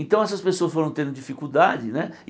Então essas pessoas foram tendo dificuldade, né?